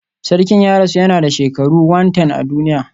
Sarkin ya rasu yana da shekaru 110 a duniya